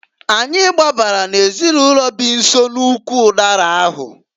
Anyị gbabara n'ezinụlọ bi nso n'ụkwụ ụdara ahụ.